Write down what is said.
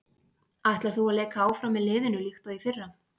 Ætlar þú að leika áfram með liðinu líkt og í fyrra?